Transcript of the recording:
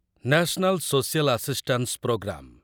national social assistance programme